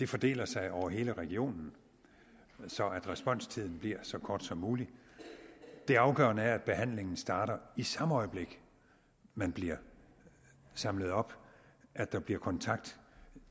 fordeler sig over hele regionen så responstiden bliver så kort som mulig det afgørende er at behandlingen starter i samme øjeblik man bliver samlet op at der bliver kontakt